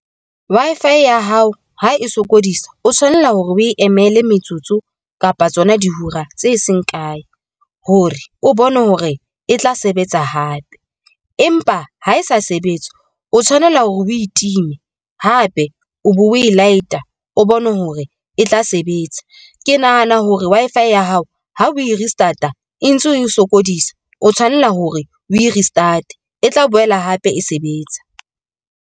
Wi-Fi ya hao ha e sokodisa o tshwanela hore o e emele metsotso kapa tsona di hora tse seng kae hore o bone hore e tla sebetsa hape, empa ha e sa sebetse, o tshwanela hore o e time hape o be o e light-a o bone hore e tla sebetsa. Ke nahana hore Wi-Fi ya hao ha o e restart-a e ntse e sokodisa, o tshwanela hore o e restart-e tla boela hape e sebetsa.